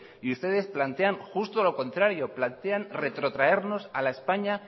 y ustedes plantean justo lo contrario plantean retrotraernos a la españa